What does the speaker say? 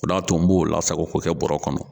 O de y'a to n b'o lasago k'o kɛ bɔɔrɔ kɔnɔ.